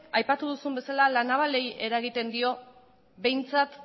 aipatu duzun bezala la navalari eragiten dio behintzat